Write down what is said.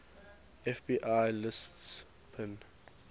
fbi lists bin